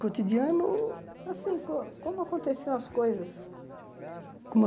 Cotidiano... Assim, co como aconteciam as coisas?